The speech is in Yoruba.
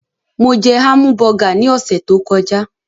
Mo jẹ hámùbọgà ní ọ̀sẹ̀ tó kọjá.